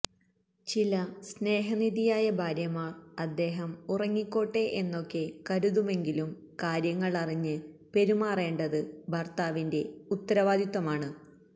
ചില സ്നേഹനിധിയായ ഭാര്യമാർ അദ്ദേഹം ഉറങ്ങിക്കോട്ടെ എന്നൊക്കെ കരുതുമെങ്കിലും കാര്യങ്ങൾ അറിഞ്ഞ് പെരുമാറേണ്ടത് ഭർത്താവിന്റെ ഉത്തരവാദിത്വമാണ്